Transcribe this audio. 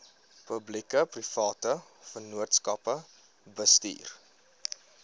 publiekeprivate vennootskappe bestuur